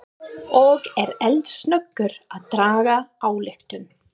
Og er eldsnöggur að draga ályktun.